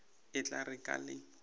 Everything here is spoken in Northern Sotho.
e tla re ka le